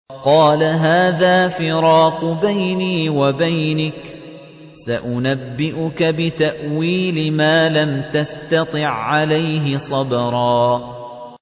قَالَ هَٰذَا فِرَاقُ بَيْنِي وَبَيْنِكَ ۚ سَأُنَبِّئُكَ بِتَأْوِيلِ مَا لَمْ تَسْتَطِع عَّلَيْهِ صَبْرًا